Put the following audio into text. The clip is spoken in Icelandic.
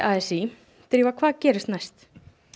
a s í drífa hvað gerist næst